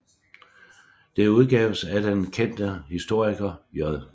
Det udgaves af den bekendte historiker J